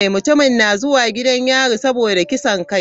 Mutumin na zuwa gidan yari saboda kisan kai.